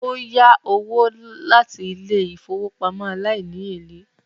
Ó yá owó láti ilé ìfowópamọ́ aláìníèlè